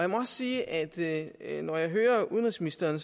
må også sige at at når jeg hører udenrigsministeren